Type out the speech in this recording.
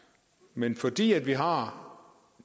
men fordi vi har